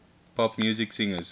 pop music singers